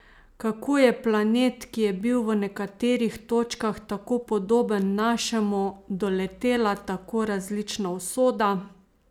Kako je planet, ki je bil v nekaterih točkah tako podoben našemu, doletela tako različna usoda?